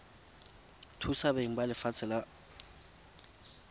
thusa beng ba lefatshe la